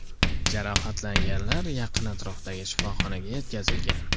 Jarohatlanganlar yaqin atrofdagi shifoxonaga yetkazilgan.